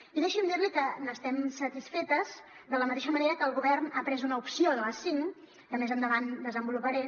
i deixi’m dir li que n’estem satisfetes de la mateixa manera que el govern ha pres una opció de les cinc que més endavant desenvoluparé